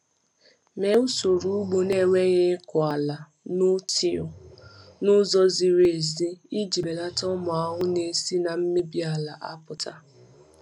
Mee usoro ugbo na-enweghị ịkụ ala (no-till) n’ụzọ ziri ezi iji belata ụmụ ahụhụ na-esi na mmebi ala apụta.